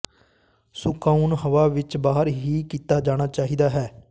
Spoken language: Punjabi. ਸੁਕਾਉਣ ਹਵਾ ਵਿੱਚ ਬਾਹਰ ਹੀ ਕੀਤਾ ਜਾਣਾ ਚਾਹੀਦਾ ਹੈ